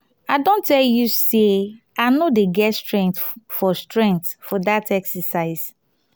babe i don tell you say i no dey get strength for strength for dat exercise